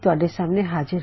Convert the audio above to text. ਸਤਿ ਸ਼੍ਰੀ ਅਕਾਲ